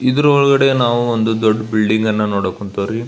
ಇದರ ಒಳಗಡೆ ನಾವು ಒಂದು ದೊಡ್ಡ ಬಿಲ್ಡಿಂಗ್ ಅನ್ನ ನೋಡಕ್ ಕೂಂತೇವ ರೀ.